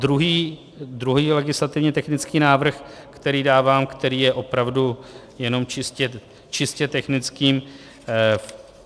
Druhý legislativně technický návrh, který dávám, který je opravdu jenom čistě technickým.